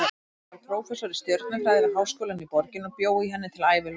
Hann varð prófessor í stjörnufræði við háskólann í borginni og bjó í henni til æviloka.